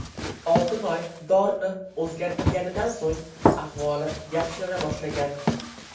Oltinoy dorini o‘zgartirganidan so‘ng ahvoli yaxshilana boshlagan.